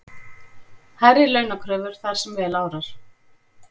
Hærri launakröfur þar sem vel árar